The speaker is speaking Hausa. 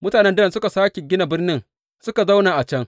Mutanen Dan suka sāke gina birnin suka zauna a can.